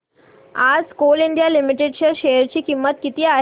आज coal India limited च्या share ची किंमत किती आहे